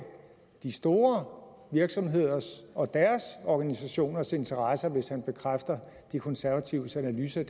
de store virksomheders og deres organisationers interesser hvis han bekræfter de konservatives analyse af